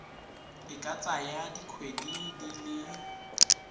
e ka tsaya dikgwedi di